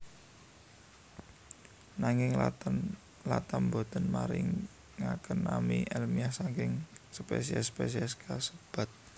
Nanging Latham boten maringaken nami èlmiah saking spesies spesies kasebat